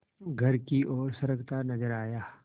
घर की ओर सरकता नजर आया